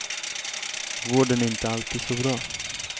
Vården är inte alltid så bra.